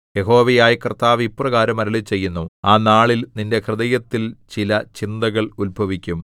യഹോവയായ കർത്താവ് ഇപ്രകാരം അരുളിച്ചെയ്യുന്നു ആ നാളിൽ നിന്റെ ഹൃദയത്തിൽ ചില ചിന്തകൾ ഉത്ഭവിക്കും